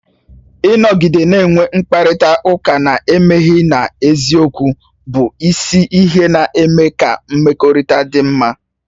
Ịnọgide na-enwe mkparịta ụka na-emeghe na eziokwu bụ isi ihe na-eme ka mmekọrịta dị mma